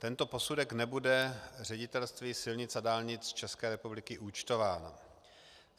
Tento posudek nebude Ředitelství silnic a dálnic České republiky účtován.